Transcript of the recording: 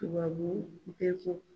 Tubabu bɛɛ ko.